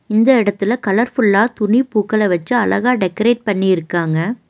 இந்த எடத்துல கலர் ஃபுல்லா துணி பூக்கள வச்சு அழகா டெக்கரேட் பண்ணிருக்காங்க.